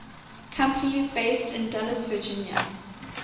companies based in dulles virginia